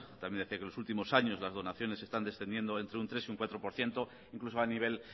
también decía que los últimos años las donaciones están descendiendo entre un tres por ciento y un cuatro por ciento incluso a nivel